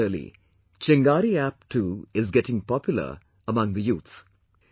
Similarly, Chingari App too is getting popular among the youth